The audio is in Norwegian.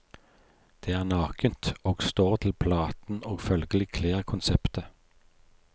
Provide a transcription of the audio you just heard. Det er nakent, og står til platen og følgelig kler konseptet.